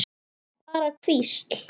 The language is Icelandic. Bara hvísl.